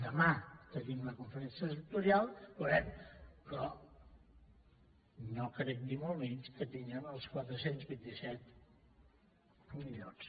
demà tenim la conferència sectorial veurem però no crec ni molt menys que tinguem els quatre cents i vint set milions